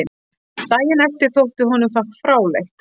Daginn eftir þótti honum það fráleitt.